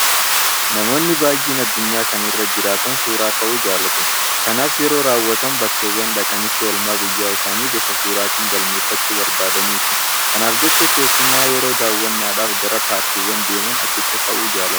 Namoonni baay'een addunyaa kana irra jiraatan suura ka'uu jaalatu. Kanas yeroo raawwatan bakkeewwan dhaqanitti oolmaa guyyaa isaanii bifa suuraatiin galmeeffachuu barbaadaniitu. Kanaaf jecha keessumaa yeroo daawwannaadhaaf gara paarkiiwwanii deeman achitti ka'uu jaalatu.